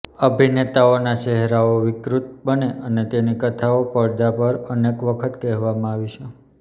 અભિનેતાના ચહેરાઓ વિકૃત બને અને તેની કથાઓ પડદા પર અનેક વખત કહેવામાં આવી છે